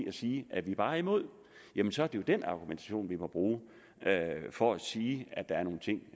at sige at vi bare er imod jamen så er jo den argumentation vi må bruge for at sige at der er nogle ting